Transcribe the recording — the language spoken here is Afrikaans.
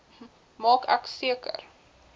maak ek seker